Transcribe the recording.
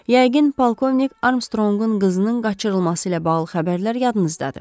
Yəqin polkovnik Armstrongun qızının qaçırılması ilə bağlı xəbərlər yadınızdadır.